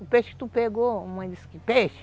O peixe que tu pegou, mãe disse, que peixe?